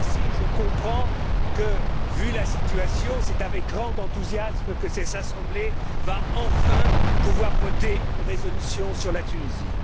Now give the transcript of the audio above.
Je comprends que, vu la situation, c'est avec grand enthousiasme que cette assemblée va enfin pouvoir voter une résolution sur la Tunisie.